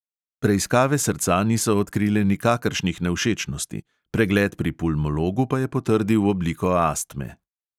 Preiskave srca niso odkrile nikakršnih nevšečnosti, pregled pri pulmologu pa je potrdil obliko astme.